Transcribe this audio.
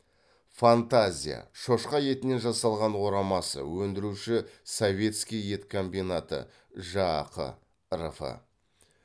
фантазия шошқа етінен жасалған орамасы өндіруші советский ет комбинаты жақ рф